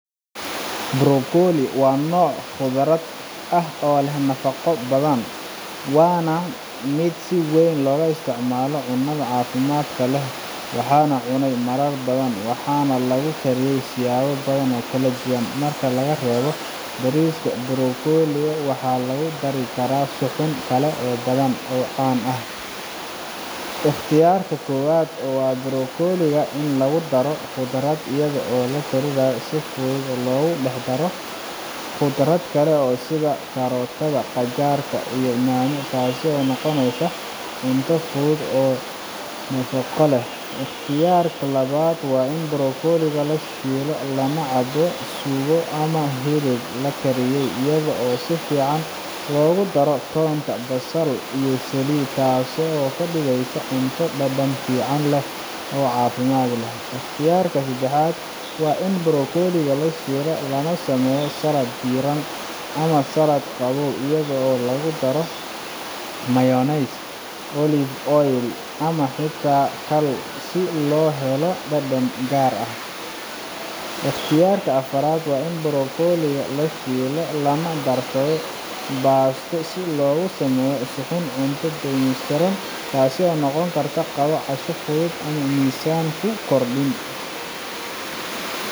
brokoli waa nooc khudrad ah oo leh nafaqo badan waana mid si weyn looga isticmaalo cunnada caafimaadka leh waxaan cunay marar badan waxaana lagu kariyaa siyaabo badan oo kala duwan marka laga reebo bariska brokoli waxaa lagu dari karaa suxuun kale oo badan oo caan ah ikhtiyaarka koowaad waa in brokoli lagu daro maraq khudradeed iyadoo la kariyo si fudud oo lagu dhex daro khudrad kale sida karootada, qajaar, iyo yaanyo taasoo noqonaysa cunto fudud oo nafaqo leh ikhtiyaarka labaad waa in brokoli la shiilo lana la cabo suugo ama hilib la kariyey iyadoo si fiican loogu daro toonta, basal, iyo saliid yar taasoo ka dhigaysa cunto dhadhan fiican leh oo caafimaad leh ikhtiyaarka saddexaad waa in brokoli la shiido lana sameeyo salad diiran ama salad qabow iyadoo lagu daro mayonnaise, olive oil, ama xitaa khal si loo helo dhadhan gaar ah ikhtiyaarka afraad waa in brokoli la shiido lana darsado baasto si loogu sameeyo suxuun cunto dhameystiran taas oo noqon karta qado ama casho fudud oo aan miisaan ku kordhin